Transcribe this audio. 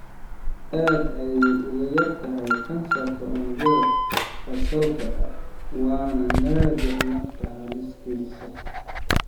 Aad ayey uga yar tahay kansarka unugyada basal-ka waana naadir nafta halis gelisa.